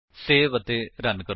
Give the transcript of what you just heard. save ਅਤੇ run ਕਰੋ